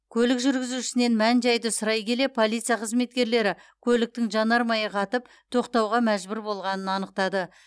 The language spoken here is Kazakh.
көлік жүргізушісінен мән жайды сұрай келе полиция қызметкерлері көліктің жанармайы қатып тоқтауға мәжбүр болғанын анықтады